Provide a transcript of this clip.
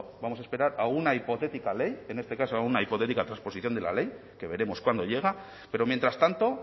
vamos a esperar a una hipotética ley en este caso a una hipotética transposición de la ley que veremos cuándo llega pero mientras tanto